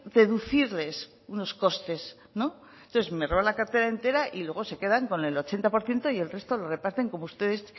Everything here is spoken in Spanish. deducirles unos costes no entonces me roban la cartera entera y luego se quedan con el ochenta por ciento y el resto lo reparten como ustedes